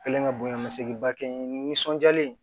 Kɛlen ka bonya misɛnnin ba kɛ n ye ninsɔn diyalen